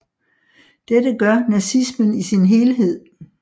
Dette gør nazismen i sin helhed